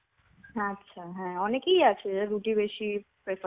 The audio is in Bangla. আচ্ছা. হ্যাঁ. অনেকেই আছে যারা রুটি বেশি prefer